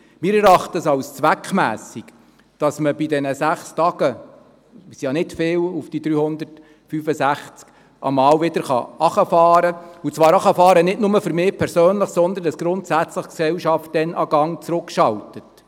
Wir erachten es als zweckmässig, dass man während dieser sechs Tage – das sind ja nicht viele auf die 365 Tage – mal wieder herunterfahren kann, und zwar herunterfahren nicht nur für mich persönlich, sondern indem die Gesellschaft dann grundsätzlich einen Gang herunterschaltet.